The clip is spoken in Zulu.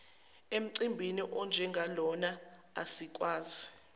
emcimbini onjengalona asikwazi